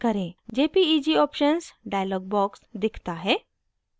jpeg options dialog box दिखता है